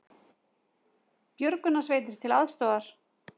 Björgunarsveitir til aðstoðar